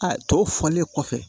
A tɔ fɔlen kɔfɛ